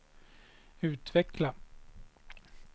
utveckla